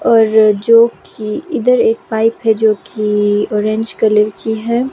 और जो कि इधर एक पाइप है जो कि ऑरेंज कलर की है।